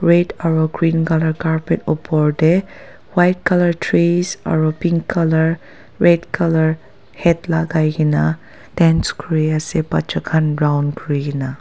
Red aro green colour carpet upor te white colour trees aro pink colour red colour hat lagai kena dance kuri ase bacha khan round kuri kena.